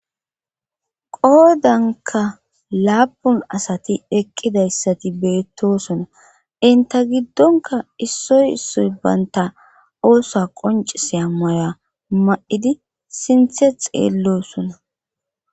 qoodanka laapun asati eqqidayssati beettosona inta giddonka issoy issoy baynta oosa qoncise a moya ma7idi sinthe xeellosona